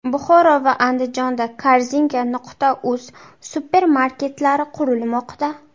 Buxoro va Andijonda Korzinka.uz supermarketlari qurilmoqda.